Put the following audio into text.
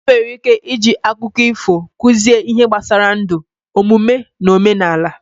Enwere ike iji akụkọ ifo kụzie ihe gbasara ndụ, omume, na omenala.